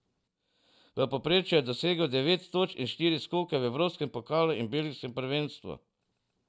V povprečju je dosegal devet točk in štiri skoke v evropskem pokalu in belgijskem prvenstvu.